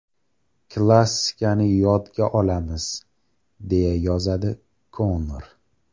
Klassikani yodga olamiz”, deya yozadi Konor.